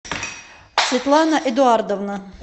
светлана эдуардовна